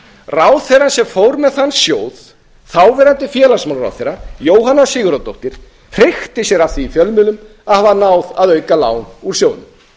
ráðherrann sem fór með þann sjóð þáverandi félagsmálaráðherra jóhanna sigurðardóttir hreykti sér af því í fjölmiðlum að hafa náð að auka lán úr sjóðnum